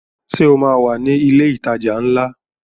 Ṣé o máa wà ní ilé ìtajà ńlá?